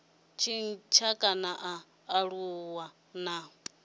tshintsha kana a aluwa na